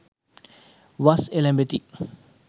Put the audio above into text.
වස් එළැඹෙති.